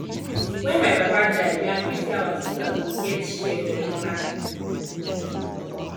wen my papa die we agree say our sisters go get share for im land